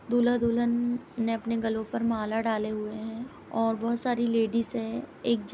दूल्हा दुल्हन ने अपने गलों पर माला डाले हुए हैं और बहोत सारी लेडिस हैं। एक जे --